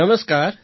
નમસ્કાર